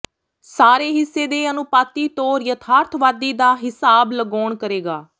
ਸਾਰੇ ਹਿੱਸੇ ਦੇ ਅਨੁਪਾਤੀ ਤੌਰ ਯਥਾਰਥਵਾਦੀ ਦਾ ਿਹਸਾਬ ਲਗਾਉਣ ਕਰੇਗਾ